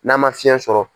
N'a ma fiɲɛ sɔrɔ